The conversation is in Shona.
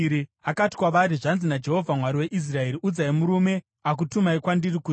Akati kwavari, “Zvanzi naJehovha, Mwari weIsraeri: Udzai murume akutumai kwandiri kuti,